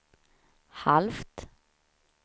halvt